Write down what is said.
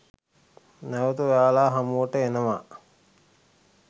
නැවත ඔයාලා හමුවට එනවා